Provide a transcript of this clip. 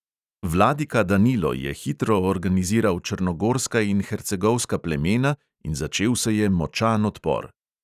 Vladika danilo je hitro organiziral črnogorska in hercegovska plemena in začel se je močan odpor.